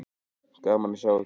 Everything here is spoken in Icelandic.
Gaman að sjá ykkur.